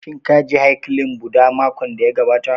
Shin ka je haikalin Bhudha makon da ya gabata